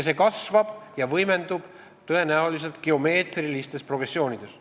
See kasvab ja võimendub tõenäoliselt geomeetrilises progressioonis.